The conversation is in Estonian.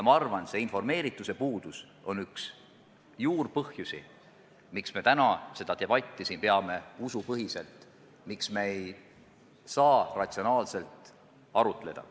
Ma arvan, et informeerituse puudus on üks juurpõhjusi, miks me täna seda debatti peame siin usupõhiselt ja miks me ei saa ratsionaalselt arutleda.